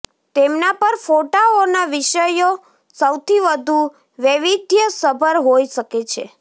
તેમના પર ફોટાઓના વિષયો સૌથી વધુ વૈવિધ્યસભર હોઈ શકે છે